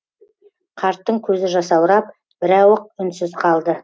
қарттың көзі жасаурап бірауық үнсіз қалды